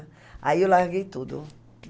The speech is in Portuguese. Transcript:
Aí eu larguei tudo.